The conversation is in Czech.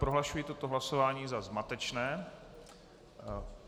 Prohlašuji toto hlasování za zmatečné.